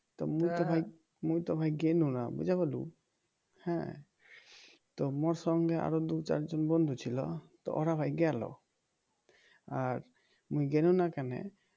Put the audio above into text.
তো মুই তো ভাই গেলুম না বুঝা গেল তো মোর সঙ্গে আরও দু চারজন বন্ধু ছিল তো ওরা ভাই গেল আর মুই গেলুনা কেনে